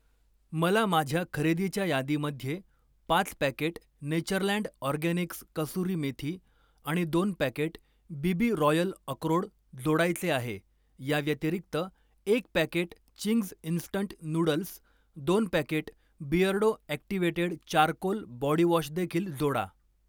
मला माझ्या खरेदीच्या यादीमध्ये पाच packet Natureland Organics kasuri methi आणि दोन पॅकेट बीबी रॉयल अक्रोड जोडायचे आहे. याव्यतिरिक्त, एक पॅकेट चिंग्ज इन्स्टंट नूडल्स, दोन packet Beardo activated charcoal body wash देखील जोडा.